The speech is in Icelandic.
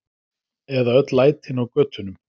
Eða öll lætin á götunum!